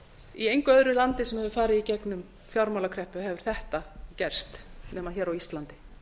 í engu öðru landi sem hefur farið í gegnum fjármálakreppu hefur þetta gerst nema hér á íslandi